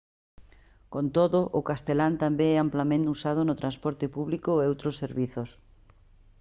con todo o castelán tamén é amplamente usado no transporte público e outros servizos